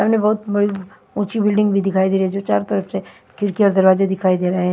सामने बहोत बड़ी उंची बिल्डिंग भी दिखाई दे रही है जो चारो तरफ से खिड़किया और दरवाजे दिखाई दे रहे है।